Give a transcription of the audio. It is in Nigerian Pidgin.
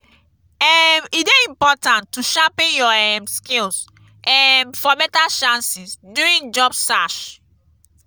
um e dey important to sharpen your um skills um for better chances during job search.